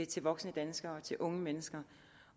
til voksne danskere til unge mennesker